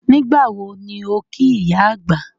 Nígbàwo ni o kí ìyá àgbà?